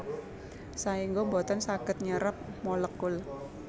Saéngga boten saged nyerep molekul